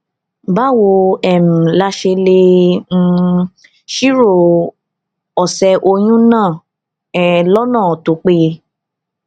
báwo um la ṣe lè um ṣírò òsè oyún náà um lónà tó péye